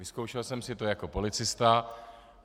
Vyzkoušel jsem si to jako policista.